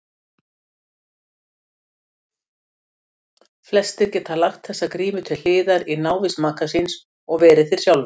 Flestir geta lagt þessa grímu til hliðar í návist maka síns og verið þeir sjálfir.